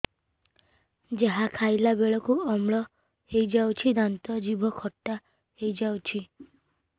ଯାହା ଖାଇଲା ବେଳକୁ ଅମ୍ଳ ହେଇଯାଉଛି ଦାନ୍ତ ଜିଭ ଖଟା ହେଇଯାଉଛି